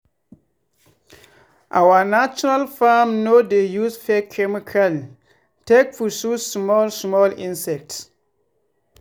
our natural farm no dey use fake chemical take pursue small small insects.